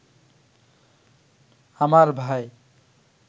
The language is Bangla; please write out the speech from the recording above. আমার ভাই